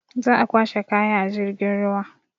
Za a kwashe kaya a jirgin ruwa.